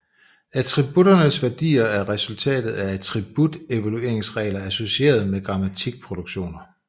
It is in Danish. Attributternes værdier er resultatet af attribut evalueringsregler associeret med grammatikproduktioner